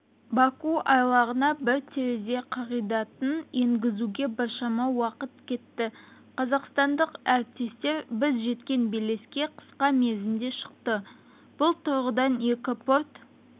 баку айлағына бір терезе қағидатын енгізуге біршама уақыт кетті қазақстандық әріптестер біз жеткен белеске қысқа мерзімде шықты бұл тұрғыдан екі порт